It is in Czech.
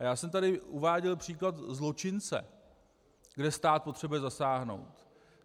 A já jsem tady uváděl příklad zločince, kde stát potřebuje zasáhnout.